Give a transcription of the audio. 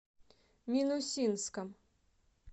минусинском